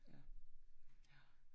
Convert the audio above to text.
Ja, ja